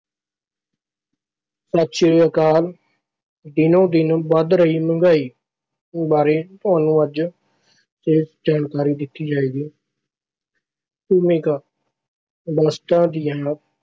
ਸਤਿ ਸ਼੍ਰੀ ਅਕਾਲ, ਦਿਨੋ ਦਿਨ ਵੱਧ ਰਹੀ ਮਹਿੰਗਾਈ ਬਾਰੇ ਤੁਹਾਨੂੰ ਅੱਜ ਵਿਸ਼ੇਸ਼ ਜਾਣਕਾਰੀ ਦਿੱਤੀ ਜਾਏਗੀ। ਭੂਮਿਕਾ- ਵਸਤਾਂ ਦੀਆਂ